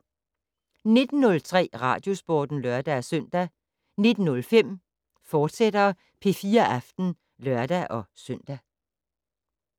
19:03: Radiosporten (lør-søn) 19:05: P4 Aften, fortsat (lør-søn)